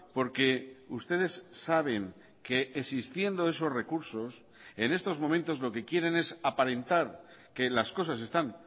porque ustedes saben que existiendo esos recursos en estos momentos lo que quieren es aparentar que las cosas están